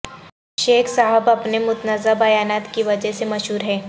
شیخ صاحب اپنے متنازعہ بیانات کی وجہ سے مشہور ہیں